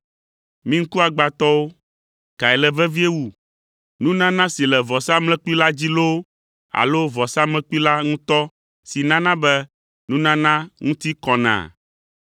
Mi ŋkuagbãtɔwo! Kae le vevie wu, nunana si le vɔsamlekpui la dzi loo alo vɔsamlekpui la ŋutɔ si nana be nunana ŋuti kɔnaa?